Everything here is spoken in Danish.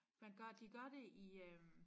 Man gør de gør det i øh